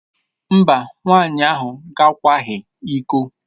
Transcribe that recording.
Mba, nwaanyị ahụ gakwaghị iko.